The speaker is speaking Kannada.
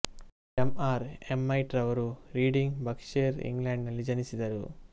ಎಂ ಎಲ್ ಎಮ್ಮೆಟ್ ರವರು ರೀಡಿಂಗ್ ಬರ್ಕ್ಷೈರ್ ಇಂಗ್ಲೆಂಡಿನಲ್ಲಿ ಜನಿಸಿದರು